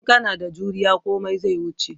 In kana da juriya komai zai wuce